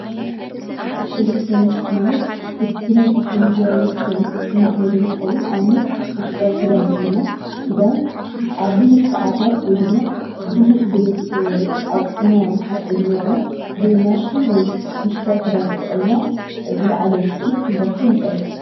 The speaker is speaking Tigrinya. ኤሌክትሮኒክስ ማለት ብናይ ቴክኖሎጃዊ ዉፅኢት ዝማዕበለ እንትከውን ንኣብነት ፦መሕፀቢ ክዳን እንተይልና ክዳን ኣብ ብዙሕ ሳዓታት ወይ ድማ ብዙሕ ጉልበት ኣውፂኢና ንሓፅቦ ዝነበርና ብማሽን ወይ መሕፅቢ ክዳን ተጠቂምና ዝለዓለ ውፅኢት ክንረክብ ንክእል።